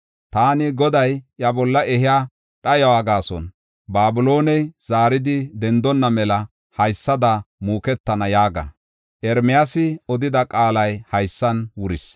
Taani Goday iya bolla ehiya dhayuwa gaason, Babilooney zaaridi dendonna mela haysada muuketana” yaaga. Ermiyaasi odida qaalay haysan wuris.